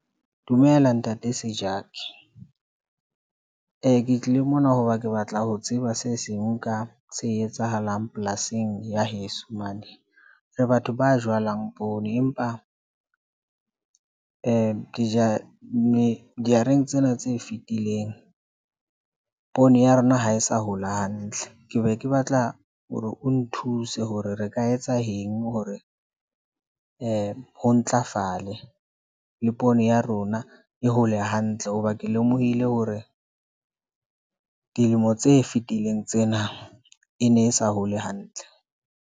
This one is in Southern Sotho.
Dumela ntate Sejaki, ke tlile mona hoba ke batla ho tseba se seng ka se etsahalang polasing ya heso mane. Re batho ba jalang poone, empa dijareng tsena tse fitileng poone ya rona ha e sa hola hantle. Ke be ke batla hore o nthuse hore re ka etsa eng hore ho ntlafale le poone ya rona. E hole hantle hoba ke lemohile hore dilemo tse fitileng tsena e ne e sa hole hantle.